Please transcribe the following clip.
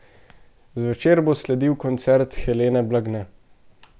Zvečer bo sledil koncert Helene Blagne.